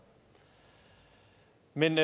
men